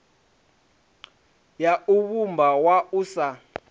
ya u vhumba wua sa